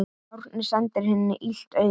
Árný sendir henni illt auga.